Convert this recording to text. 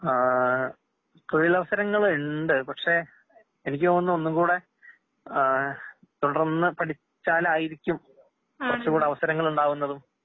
ആഹ് തൊഴിലവസരങ്ങളുണ്ട്. പക്ഷെ എനിക്കുതോന്നുന്നു ഒന്നുങ്ങൂടെ ആഹ് തുടർന്ന് പഠിച്ചാലായിരിക്കും കുറച്ച്കൂടെ അവസരങ്ങളുണ്ടാവുന്നതും